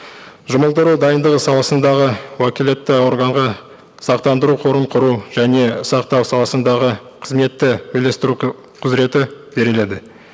жұмылдыру дайындығы саласындағы уәкілетті органға сақтандыру қорын құру және сақтау саласындағы қызметті үйлестіру құзыреті беріледі